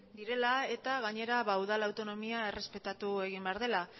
direla eta gainera udal autonomia errespetatu egin behar dela